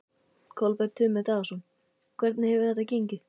Kolbeinn Tumi Daðason: Hvernig hefur þetta gengið?